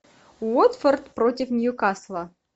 уотфорд против ньюкасла